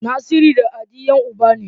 Naziru da Hadi Yan uba ne